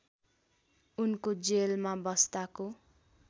उनको जेलमा बस्दाको